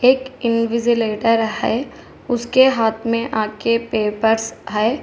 एक इनविजीलेटर है उसके हाथ में आके पेपर्स है।